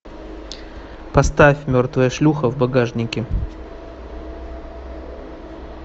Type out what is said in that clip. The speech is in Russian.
поставь мертвая шлюха в багажнике